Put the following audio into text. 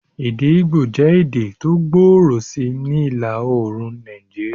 Èdè Igbo jẹ́ èdè tó gbòòrò sí ni ìlà-oorùn Nàìjíríà.